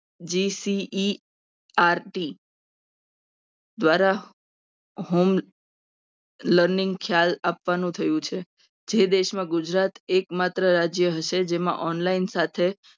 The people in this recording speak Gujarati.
જી. સી. ઈ. આર. ટી દ્વારા home learning ખ્યાલ આપવાનો થયો છે. જે દેશમાં ગુજરાત એકમાત્ર રાજ્ય હશે. જેમાં online સાથે